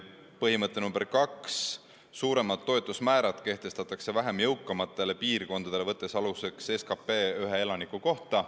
Põhimõte nr 2: suuremad toetusmäärad kehtestatakse vähem jõukamatele piirkondadele, võttes aluseks SKT väärtuse ühe elaniku kohta.